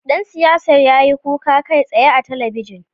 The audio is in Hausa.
Dan siyasar ya yi kuka kai tsaye a ɓoye